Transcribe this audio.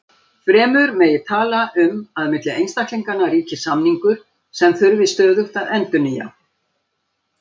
Fremur megi tala um að milli einstaklinganna ríki samningur sem þurfi stöðugt að endurnýja.